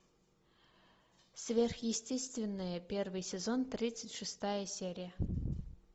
сверхъестественное первый сезон тридцать шестая серия